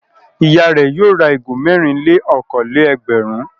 Ìyá rẹ̀ yóò ra ìgò mẹ́rin-lé-okòó-lé-ẹgbẹ̀rún.